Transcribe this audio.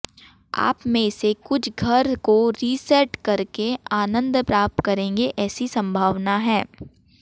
आप में से कुछ घर को रीसेट करके आनंद प्राप्त करेंगे ऐसी संभावना है